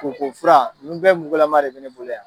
Koko fura nin bɛɛ mugulama de bɛ ne bolo yan.